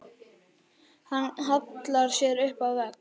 Hann hallar sér upp að vegg.